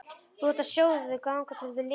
Þú átt að sjóða þau þangað til þau linast.